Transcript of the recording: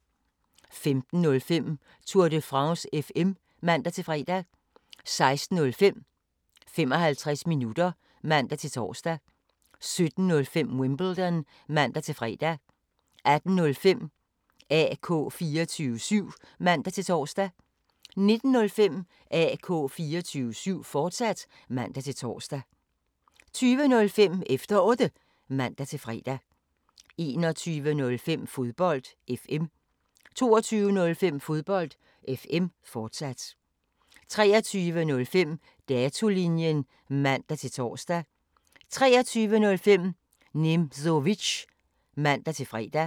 15:05: Tour de France FM (man-fre) 16:05: 55 minutter (man-tor) 17:05: Wimbledon (man-fre) 18:05: AK 24syv (man-tor) 19:05: AK 24syv, fortsat (man-tor) 20:05: Efter Otte (man-fre) 21:05: Fodbold FM 22:05: Fodbold FM, fortsat 23:05: Datolinjen (man-tor) 03:05: Nimzowitsch (man-fre)